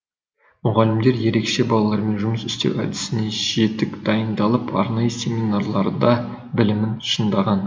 мұғалімдер ерекше балалармен жұмыс істеу әдісіне жетік дайындалып арнайы семинарларда білімін шыңдаған